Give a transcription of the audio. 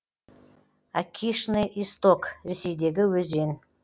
аккишный исток ресейдегі өзен